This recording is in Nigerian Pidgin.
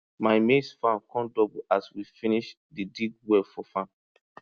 my maize farm come double as we finish dey dig well for farm